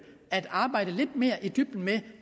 at arbejde lidt mere i dybden med